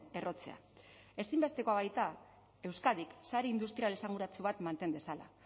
errotzea ezinbestekoa baita euskadik sare industrial esanguratsu bat manten dezala